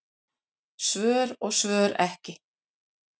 Svör og svör ekki.